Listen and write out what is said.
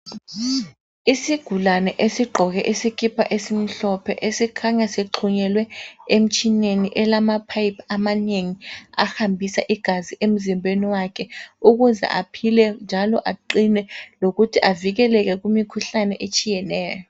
Isigulani esigqoke isikipa esimhlophe esikhanya sixhunyelwe emtshineni elamapipe amanengi ahambisa igazi emzimbeni wakhe ukuze aphile njalo aqine lokuthi avikeleke emkhuhlaneni etshiyeneyo